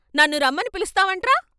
నన్ను రమ్మని పిలుస్తావంట్రా..